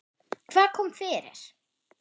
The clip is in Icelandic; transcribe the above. Hvað kom fyrir?